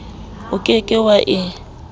o ke ke wa e